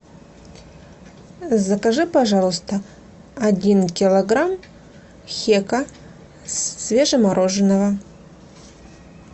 закажи пожалуйста один килограмм хека свежемороженного